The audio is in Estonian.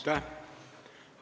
Aitäh!